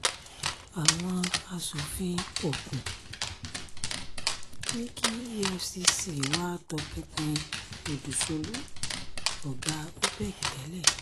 àwọn asòfin ogun ní kí efcc wáá tọpinpin òdúsolu ọ̀gá opec tẹ́lẹ̀